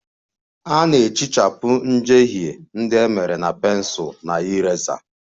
A na-ehichapụ njehie ndị e mere na pensụl na eraser